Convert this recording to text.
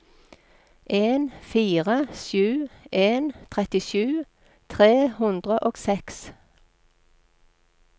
en fire sju en trettisju tre hundre og seks